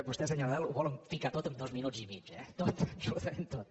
vostès senyor nadal ho volen ficar tot amb dos minut i mig eh tot absolutament tot